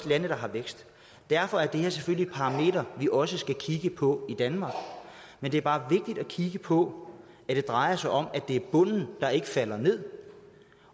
lande der har vækst derfor er det her selvfølgelig et parameter vi også skal kigge på i danmark men det er bare vigtigt at kigge på at det drejer sig om at det er bunden der ikke falder ned